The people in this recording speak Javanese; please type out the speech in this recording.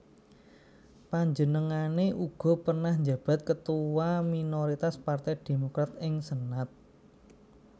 Panjenengané uga pernah njabat Ketua Minoritas Partai Demokrat ing Senat